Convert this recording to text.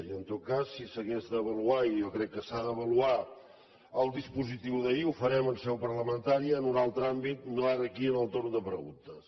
i en tot cas si s’hagués d’avaluar i jo crec que s’ha d’avaluar el dispositiu d’ahir ho farem en seu parlamentària en un altre àmbit no ara aquí en el torn de preguntes